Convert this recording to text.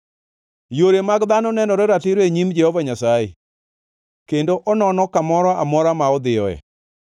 Yore mag dhano nenore ratiro e nyim Jehova Nyasaye, kendo onono kamoro amora ma odhiyoe.